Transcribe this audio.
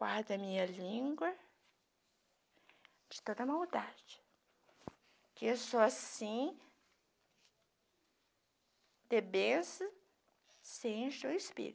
Guarde a minha língua de toda maldade, que só assim, de bênçãos, se enche o Espírito.